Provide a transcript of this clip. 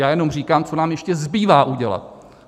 Já jenom říkám, co nám ještě zbývá udělat.